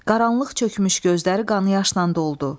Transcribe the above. Qaranlıq çökmüş gözləri qan yaşla doldu.